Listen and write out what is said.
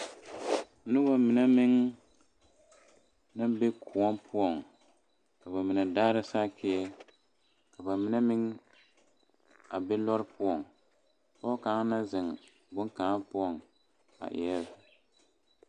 Nobɔ mine meŋ naŋ be kõɔ poɔŋ ka ba mine daara Sakieɛ ka ba mine meŋ a be lɔre poɔŋ pɔɔ kaŋa naŋ zeŋ bonkaŋa poɔŋ a eɛɛ.